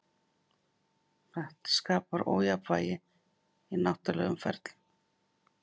Þetta skapar ójafnvægi í náttúrulegum ferlum.